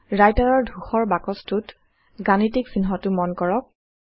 Writer ৰ ধূসৰ বাকছটোত গাণিতীক চিহ্নটো মন কৰক